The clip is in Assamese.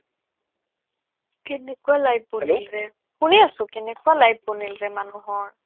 কেনেকুৱা life বনিলৰে শুনি আছো কেনেকুৱা life বনিলৰে yawning মানুহৰ